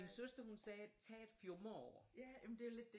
Min søster hun sagde tag et fjumreår